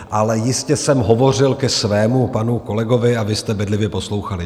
Ale jistě jsem hovořil ke svému panu kolegovi a vy jste bedlivě poslouchali.